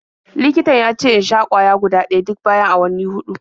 Likitan ya ce in sha ƙwaya guda ɗaya duk bayan awanni huɗu.